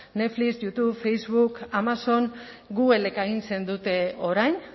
netflix youtube facebook amazon googlek agintzen dute orain